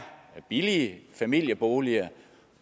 billige familieboliger